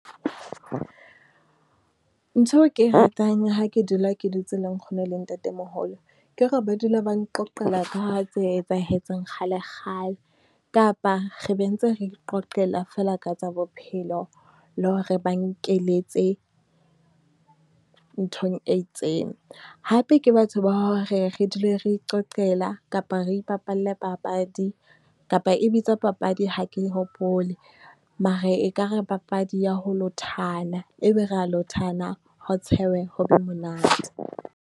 Ntho eo ke ratang ya ha ke dula ke dutse le nkgono le ntatemoholo. Ke hore ba dula ba nqoqela ka tse etsahetseng kgale kgale, kapa re be ntse re iqoqela feela ka tsa bophelo, le ho re ba nkeletse nthong e itseng. Hape ke batho ba hore re dule re iqoqela kapa re ipapalle papadi, kapa e bitswa papadi, ha ke hopole. Mare e ka re papadi ya ho lothana, e be re ya lothana, ho tshehwe ho be monate.